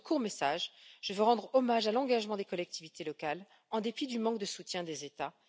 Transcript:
Dans ce court message, je veux rendre hommage à l'engagement des collectivités locales, en dépit du manque de soutien des États.